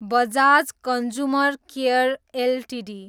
Bajaj consumer care Ltd